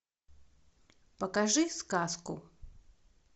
покажи сказку